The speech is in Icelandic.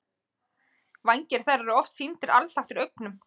Vængir þeirra eru oft sýndir alþaktir augum.